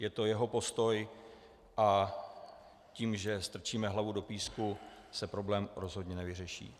Je to jeho postoj a tím, že strčíme hlavu do písku, se problém rozhodně nevyřeší.